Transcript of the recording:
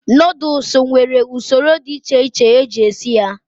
Nodlesu nwere usoro dị echeche eji esi ya